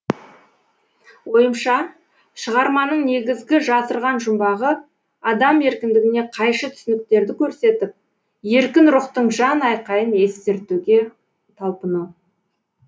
ойымша шығарманың негізгі жасырған жұмбағы адам еркіндігіне қайшы түсініктерді көрсетіп еркін рухтың жан айқайын естіртуге талпыну